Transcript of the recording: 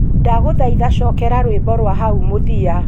ndaguthaitha cokera rwimbo rwa hau mũthia